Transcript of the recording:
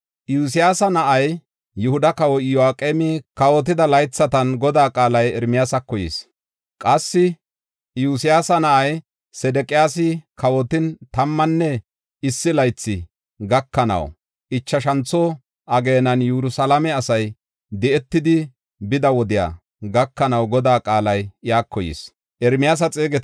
Iyosyaasa na7ay, Yihuda kawoy Iyo7aqeemi kawotida laythatan Godaa qaalay Ermiyaasako yis. Qassi Iyosyaasa na7ay, Sedeqiyaasi kawotin, tammanne issi laythi gakanawunne, ichashantho ageenan Yerusalaame asay di7etidi bida wodiya gakanaw Godaa qaalay iyako yis.